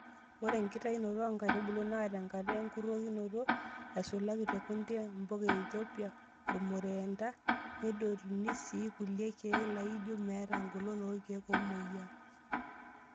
Ore enkitayunoto oonkaitubulu naa tenkata enkurokinoto,(aisulaki te kunde, mpuka eithopia, orumureenda).Nedotuni sii kulie kiek laijioo meeta engolon oorkiek omoyiaa.